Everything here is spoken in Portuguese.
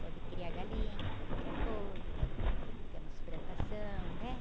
Pode criar galinha, pode criar porco, pode ter umas plantações, né?